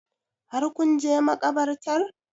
Har kun je makabartar?